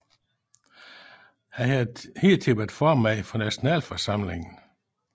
Han havde hidtil været formand for Nationalforsamlingen